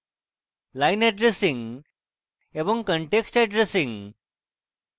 line addressing এবং context addressing